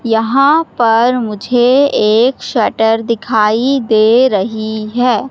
यहां पर मुझे एक शटर दिखाई दे रही है।